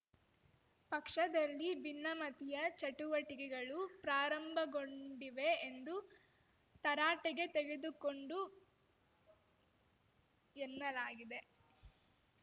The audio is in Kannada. ಪಕ್ಷದಲ್ಲಿ ಭಿನ್ನಮತೀಯ ಚಟುವಟಿಕೆಗಳು ಪ್ರಾರಂಭಗೊಂಡಿವೆ ಎಂದು ತರಾಟೆಗೆ ತೆಗೆದುಕೊಂಡು ಎನ್ನಲಾಗಿದೆ